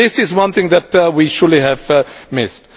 This is one thing that we surely have missed.